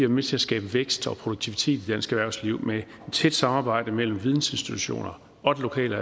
med til at skabe vækst og produktivitet i dansk erhvervsliv med et tæt samarbejde mellem vidensinstitutioner og det lokale og